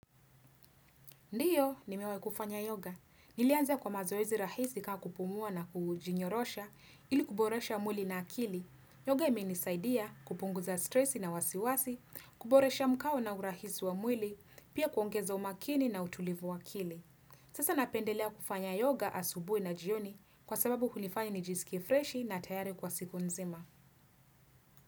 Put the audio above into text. Ndiyo, nimewaikufanya yoga. Nilianza kwa mazoezi rahisi kaa kupumua na kujinyorosha, ili kuboresha mwili na akili. Yoga imenisaidia kupunguza stresi na wasiwasi, kuboresha mkao na urahisi wa mwili, pia kuongeza umakini na utulivu wa akili. Sasa napendelea kufanya yoga asubuhi na jioni kwa sababu hunifanya nijisikie freshi na tayari kwa siku nzima.